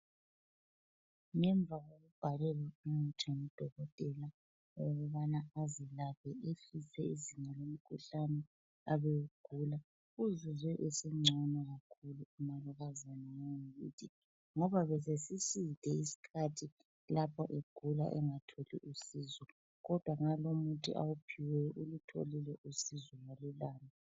Ngemva kokubhalelwa umuthi ngudokotela ukubana azilaphe ehlise izinga lomkhuhlane abewugula, uzizwe esengcono kakhulu umalukazana wangakithi, ngoba besesiside isikhathi lapho egula engatholi usizo kodwa ngalo umuthi awuphiweyo ulutholile usizo walulama.